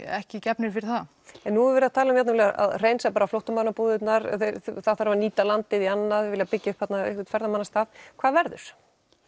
ekki gefnir fyrir það en nú er verið að tala um að hreinsa bara flóttamannabúðirnar það þarf að nýta landið í annað þau vilja byggja upp þarna ferðamannastað hvað verður